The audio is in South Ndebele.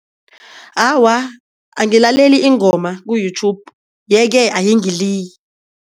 Awa, angilaleli iingoma ku-YouTube ye-ke ayingiliyi.